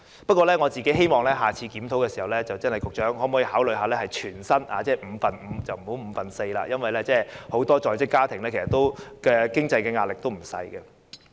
不過，我希望在下次檢討時，局長會考慮把產假的薪酬改為全薪，而不要只是五分之四，因為很多在職家庭的經濟壓力實在不小。